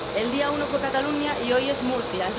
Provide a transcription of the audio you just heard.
El día 1 fue Cataluña y hoy es Murcia.